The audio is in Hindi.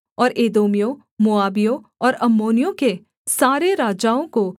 और एदोमियों मोआबियों और अम्मोनियों के सारे राजाओं को